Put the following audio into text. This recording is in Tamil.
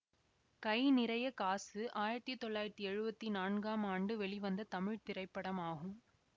கை நிறைய காசு ஆயிரத்தி தொள்ளாயிரத்தி எழுவத்தி நான்காம் ஆண்டு வெளிவந்த தமிழ் திரைப்படமாகும்